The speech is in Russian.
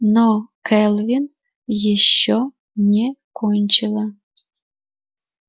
но кэлвин ещё не кончила